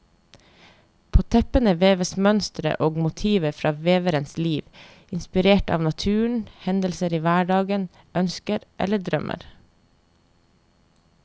På teppene veves mønstre og motiver fra veverens liv, inspirert av naturen, hendelser i hverdagen, ønsker eller drømmer.